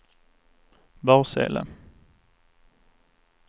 Barsele